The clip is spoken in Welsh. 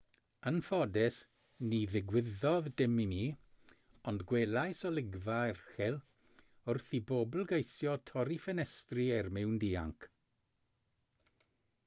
yn ffodus ni ddigwyddodd dim i mi ond gwelais olygfa erchyll wrth i bobl geisio torri ffenestri er mwyn dianc